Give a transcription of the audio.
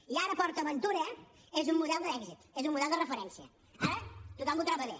i ara port aventura és un model d’èxit és un model de referència ara tothom ho troba bé